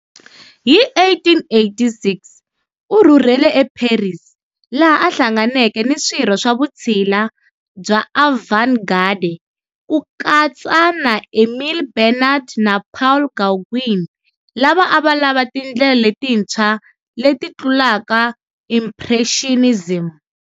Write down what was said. Hi 1886, u rhurhele eParis, laha a hlanganeke ni swirho swa vutshila bya avant-garde, ku katsa na Émile Bernard na Paul Gauguin, lava a va lava tindlela letintshwa leti tlulaka Impressionism.